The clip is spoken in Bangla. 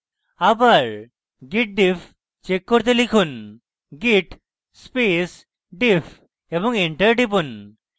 আবার git diff check করতে লিখুন git space diff এবং enter টিপুন